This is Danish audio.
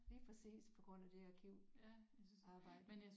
Lige præcis på grund af det arkiv arbejde